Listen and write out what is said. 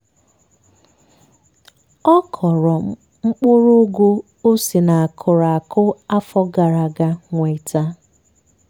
ọ kọrọ mkpụrụ ụgụ o si na akụrụ akụ afọ gara aga nweta.